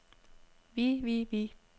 vi vi vi